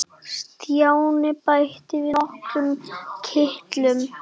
Stjáni bætti við nokkrum kitlum.